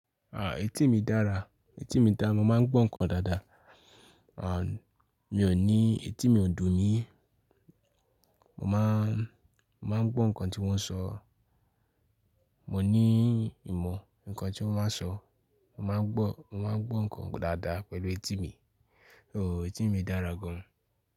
Ah etí mi dára, etí mi dáa. Mo máa ń gbọ́ nǹkan dáadáa. Ah mi ò ní, etí mi ò dùn mí. Mo máa n, mo máa ń gbọ́ nǹkan tí wón ń sọ. Mò ní ìmọ̀ nǹkan tí wón máa ń sọ. Mo máa ń gbọ́, mo máa ń gbọ́ nǹkan dáadáa pẹ̀lú etí mi. Ooo etí mi dára gan.